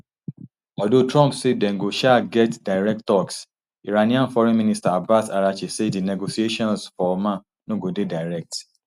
although trump say dem go um get direct talks iranian foreign minister abbas araghchi say di negotiations for oman no go dey direct